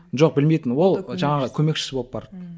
жоқ білмейтін ол жаңағы көмекшісі болып барды ммм